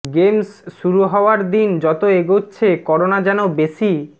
games শুরু হওয়ার দিন যত এগোচ্ছে করোনা যেন বেশি